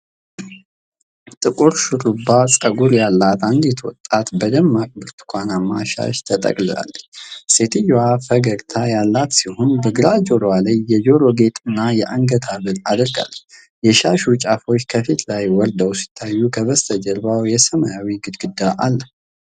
ጥቁር ሹሩባ ፀጉር ያላት አንዲት ወጣት በደማቅ ብርቱካንማ ሻሽ ተጠቅልላለች። ሴትየዋ ፈገግታ ያላት ሲሆን፣ በግራ ጆሮዋ ላይ የጆሮ ጌጥና የአንገት ሐብል አድርጋለች። የሻሹ ጫፎች ከፊቷ ላይ ወርደው ሲታዩ ከበስተጀርባው የሰማያዊ ግድግዳ አለ።